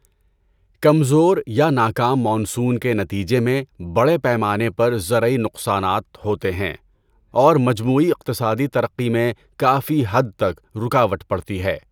کمزور یا ناکام مانسون کے نتیجے میں بڑے پیمانے پر زرعی نقصانات ہوتے ہیں اور مجموعی اقتصادی ترقی میں کافی حد تک رکاوٹ پڑتی ہے۔